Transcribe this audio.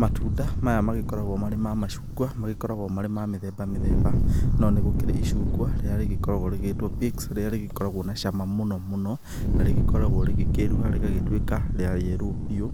Matunda maya magĩkoragwo marĩ ma macungwa magĩkoragwo marĩ ma mĩthemba mĩthemba, no nĩ gũkĩrĩ icungwa, rĩrĩa rĩgĩkoragwo rĩgĩgĩtwo pix rĩrĩa rĩgĩkoragwo na cama mũno mũno na rĩgĩkoragwo rĩgĩkĩruha rĩgatuĩka rĩa yellow piũ